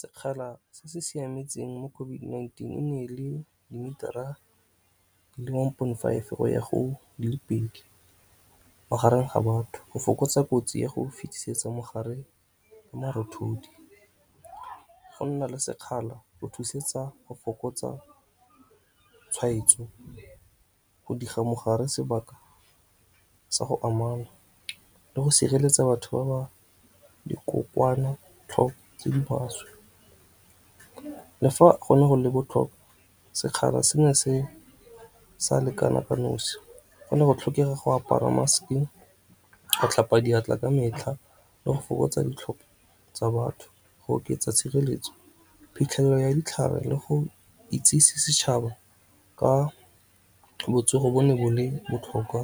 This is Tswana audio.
Sekgala se se siametseng mo COVID-19 e ne e le dimetara di le one point five go ya go di le pedi magareng ga batho go fokotsa kotsi ya go fetisetsa mogare marothodi. Go nna le sekgala go thusetsa go fokotsa tshwaetso go diga mogare sebaka sa go amana le go sireletsa batho ba ba dikokwanatlhoko tse di maswe. Le fa go ne go le botlhokwa sekgala se ne se sa lekana ka nosi go ne go tlhokega go apara mask-e, go tlhapa diatla ka metlha le go fokotsa ditlhopha tsa batho. Go oketsa tshireletso phitlhelelo ya ditlhare le go itsisi setšhaba ka botsogo bo ne bo le botlhokwa